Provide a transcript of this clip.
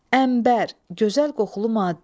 Əmbər, gözəl qoxulu maddə.